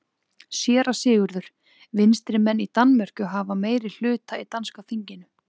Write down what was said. SÉRA SIGURÐUR: Vinstrimenn í Danmörku hafa meiri hluta í danska þinginu.